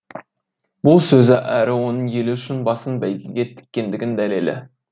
бұл сөзі әрі оның елі үшін басын бәйгеге тіккендігінің дәлелі